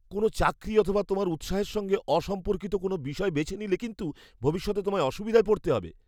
কোনও চাকরি অথবা তোমার উৎসাহের সঙ্গে অসম্পর্কিত কোনও বিষয় বেছে নিলে কিন্তু ভবিষ্যতে তোমায় অসুবিধায় পড়তে হবে।